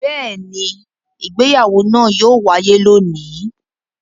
Bẹ́ẹ̀ ni, ìgbéyàwó náà yóò wáyé lónìí.